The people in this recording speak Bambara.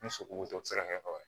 Ni sogo tɔ ti se ka kɛ o